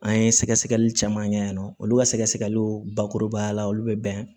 An ye sɛgɛsɛgɛli caman kɛ yen nɔ olu ka sɛgɛsɛgɛliw bakurubayala olu bɛ bɛn